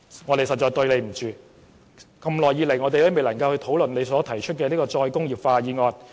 我們實在對不起吳永嘉議員，過了這麼久仍未能討論他提出的"再工業化"議案。